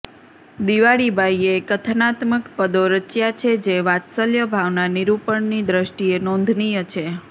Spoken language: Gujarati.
દિવાળીબાઇએ કથનાત્મક પદો રચ્યા છે જે વાત્સલ્યભાવના નિરૂપણની દ્રષ્ટિએ નોધનીય છે